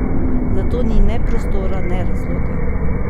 Za to ni ne prostora ne razloga.